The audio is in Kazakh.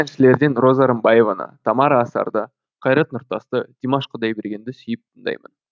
әншілерден роза рымбаеваны тамара асарды қайрат нұртасты димаш құдайбергенді сүйіп тыңдаймын